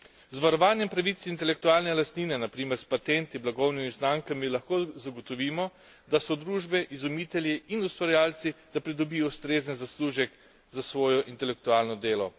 Z varovanjem pravic intelektualne lastnine, na primer s patenti, blagovnimi znamkami, lahko zagotovimo, da družbe, izumitelji in ustvarjalci pridobijo ustrezen zaslužek za svoje intelektualno delo.